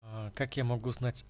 а как я могу знать